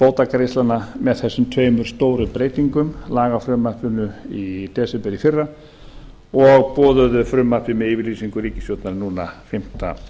bótagreiðslnanna með þessum tveimur stóru breytingum lagafrumvarpinu í desember í fyrra og boðuðu frumvarpi með yfirlýsingu ríkisstjórnar núna fimmta